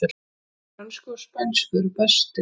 Þeir frönsku og spænsku eru bestir